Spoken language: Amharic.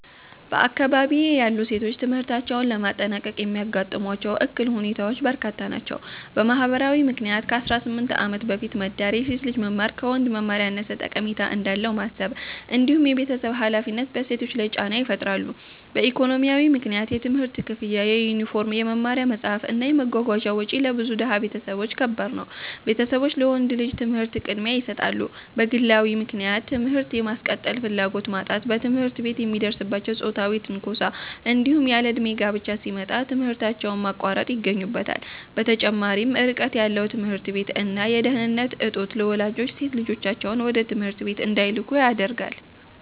በአካባቢዬ ያሉ ሴቶች ትምህርታቸውን ለማጠናቀቅ የሚያጋጥሟቸው እክል ሁኔታዎች በርካታ ናቸው። በማህበራዊ ምክንያት ከ18 ዓመት በፊት መዳር፣ የሴት ልጅ መማር ከወንድ መማር ያነሰ ጠቀሜታ እንዳለው ማሰብ፣ እንዲሁም የቤተሰብ ሃላፊነት በሴቶች ላይ ጫና ይፈጥራሉ። በኢኮኖሚያዊ ምክንያት የትምህርት ክፍያ፣ የዩኒፎርም፣ የመማሪያ መጽሐፍት እና የመጓጓዣ ወጪ ለብዙ ድሃ ቤተሰቦች ከባድ ነው፤ ቤተሰቦች ለወንድ ልጅ ትምህርት ቅድሚያ ይሰጣሉ። በግለዊ ምክንያት ትምህርት የማስቀጠል ፍላጎት ማጣት፣ በትምህርት ቤት የሚደርስባቸው ጾታዊ ትንኮሳ፣ እንዲሁም ያለእድሜ ጋብቻ ሲመጣ ትምህርታቸውን ማቋረጥ ይገኙበታል። በተጨማሪም ርቀት ያለው ትምህርት ቤት እና የደህንነት እጦት ለወላጆች ሴት ልጆቻቸውን ወደ ትምህርት ቤት እንዳይልኩ ያደርጋል።